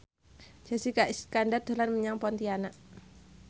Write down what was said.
Jessica Iskandar dolan menyang Pontianak